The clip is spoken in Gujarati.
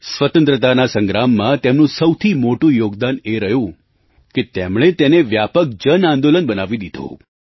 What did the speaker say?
સ્વતંત્રતા સંગ્રામમાં તેમનું સૌથી મોટું યોગદાન એ રહ્યું કે તેમણે તેને વ્યાપક જન આંદોલન બનાવી દીધું